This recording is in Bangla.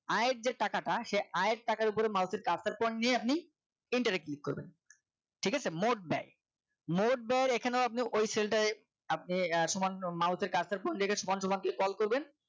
আয়ের যে টাকাটা সেই আয়ের টাকার উপরে Mouse এর cursor point নিয়ে আপনি enter এ click করবেন ঠিক আছে মোট ব্যয় মোট ব্যয় এখানেও আপনি ওই cell টাই আপনি এক সমান Mouse এর cursor point সমান সমান দিয়ে scroll করবেন